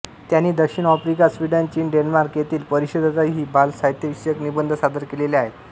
त्यांनी दक्षिण आफ्रिका स्वीडन चीन डेन्मार्क येथील परिषदातही बालसाहित्यविषयक निबंध सादर केलेले आहेत